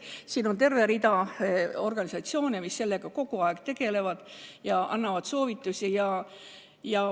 Meil on terve rida organisatsioone, kes sellega kogu aeg tegelevad ja annavad soovitusi.